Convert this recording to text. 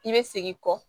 I bɛ segin kɔ